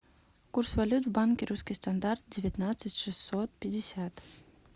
курс валют в банке русский стандарт девятнадцать шестьсот пятьдесят